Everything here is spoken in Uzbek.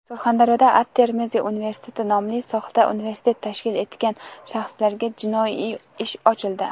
Surxondaryoda "At-Termiziy University" nomli soxta universitet tashkil etgan shaxslarga jinoiy ish ochildi.